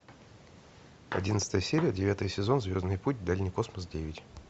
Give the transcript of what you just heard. одиннадцатая серия девятый сезон звездный путь дальний космос девять